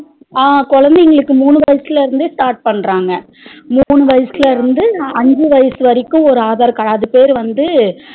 அஹ் குழந்தைகளுக்கு மூணு வயசுல இருந்தே start பண்ணறாங்க மூணு வயசுல இருந்து அஞ்சு வயசு வரைக்கும் ஒரு aadhar card அது பேரு வந்து